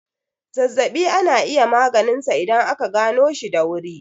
Zazzaɓi ana iya maganinsa idan aka ganoshi da wurin.